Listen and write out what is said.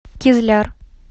кизляр